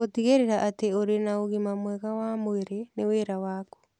Gũtigĩrĩra atĩ ũrĩ na ũgima mwega wa mwĩrĩ nĩ wĩra waku.